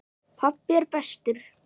Pabbi er bestur.